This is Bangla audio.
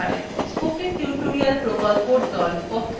spoken tutorial প্রকল্পর the